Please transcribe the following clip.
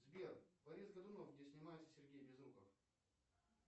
сбер борис годунов где снимается сергей безруков